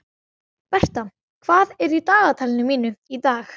Bertha, hvað er í dagatalinu mínu í dag?